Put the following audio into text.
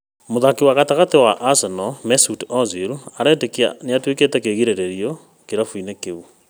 Mũthakĩri gatagatĩ wa Arsenal Mesut Ozil aretĩkia nĩatuĩkĩte kĩĩgirĩrio kĩrabu inĩ kĩu